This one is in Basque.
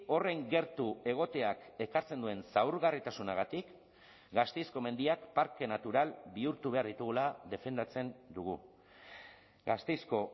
horren gertu egoteak ekartzen duen zaurgarritasunagatik gasteizko mendiak parke natural bihurtu behar ditugula defendatzen dugu gasteizko